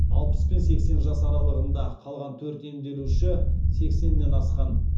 алпыс пен сексен жас аралығында қалған төрт емделуші сексеннен асқан